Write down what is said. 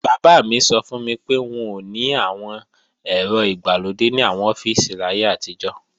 Bàbá mi sọ fún mi pé, wọn ò ní àwọn ẹ̀rọ ìgbàlódé ní àwọn ọ́fíìsì láyé àtijọ́